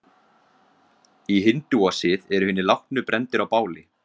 Í hindúasið eru hinir látnu brenndir á báli.